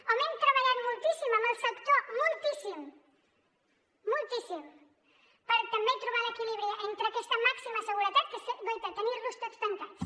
on hem treballat moltíssim amb el sector moltíssim moltíssim per també trobar l’equilibri entre aquesta màxima seguretat que és guaita tenir los tots tancats